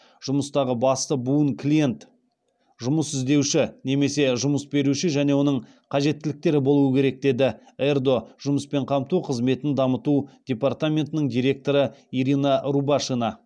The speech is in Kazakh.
жұмыстағы басты буын клиент жұмыс іздеуші немесе жұмыс беруші және оның қажеттіліктері болуы керек деді ердо жұмыспен қамту қызметін дамыту департаментінің директоры ирина рубашина